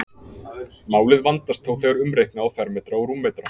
Málið vandast þó þegar umreikna á fermetra og rúmmetra.